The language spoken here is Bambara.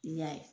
N y'a ye